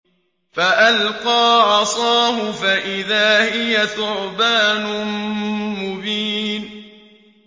فَأَلْقَىٰ عَصَاهُ فَإِذَا هِيَ ثُعْبَانٌ مُّبِينٌ